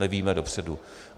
Nevíme dopředu.